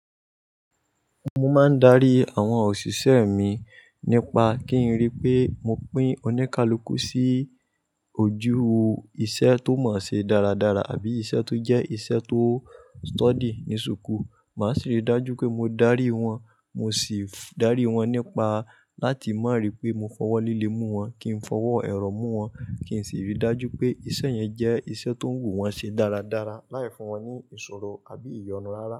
Mo máa ń darí àwọn òṣìṣẹ́ mi nípa kí n rí pé mo pín oníkálukú sí ojú iṣẹ́ tó mọ̀ọ́ ṣe dáradára àbí iṣẹ́ tó jẹ́ iṣẹ́ tó study ní súkuù. Màá sì ri dájú pé mo darí wọn, mo sì darí wọn nípa láti mọ̀ rí pé mo fọwọ́ líle mú wọn, kí n fọwọ́ ẹ̀rọ mú wọn, kí n sì ríi dájú pé iṣẹ́ yẹn jẹ́ iṣẹ́ tó wù wọ́n ṣe dáradára láì fún wọn ní ìṣòro àbí ìyọnu rárá.